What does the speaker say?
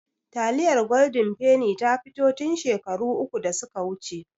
Taliyar gwaldin ta fito tin shekaru uku da suka wuce